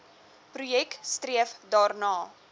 projek streef daarna